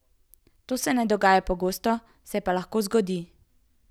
To se ne dogaja pogosto, se pa lahko zgodi.